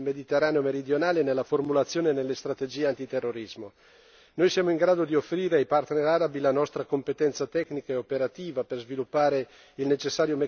Mediterraneo meridionale nella formulazione e nelle strategie antiterrorismo. Noi siamo in grado di offrire ai partner arabi la nostra competenza tecnica e operativa al fine di sviluppare il necessario meccanismo di monitoraggio